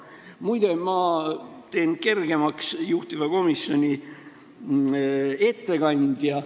Muide, ma teen kergemaks juhtiva komisjoni ettekandja töö.